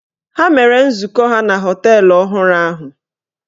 Ha mere nzukọ ha na họteelụ ọhụrụ ahụ.